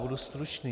Budu stručný.